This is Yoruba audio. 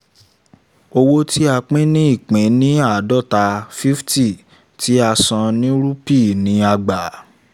owó tí a pín ní pín ní àádọ́ta fifty tí a san ní rupee ni a gbà